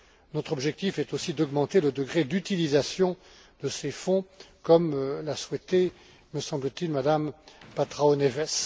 Notre objectif est aussi d'augmenter le degré d'utilisation de ces fonds, comme l'a souhaité, me semble t il, Mme Patrão Neves.